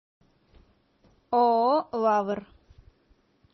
ооо лавр